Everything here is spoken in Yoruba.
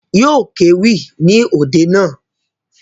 Yóò kéwì ní òde naa